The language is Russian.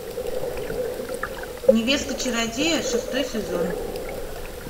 невеста чародея шестой сезон